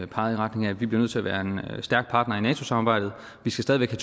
peget i retning af at vi bliver nødt til at være en stærk partner i nato samarbejdet vi skal stadig væk